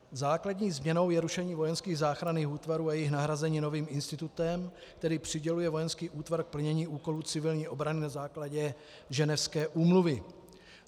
Základní změnou je rušení vojenských záchranných útvarů a jejich nahrazení novým institutem, který přiděluje vojenský útvar k plnění úkolů civilní obrany na základě Ženevské úmluvy.